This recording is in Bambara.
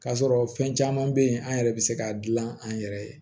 K'a sɔrɔ fɛn caman bɛ yen an yɛrɛ bɛ se k'a dilan an yɛrɛ ye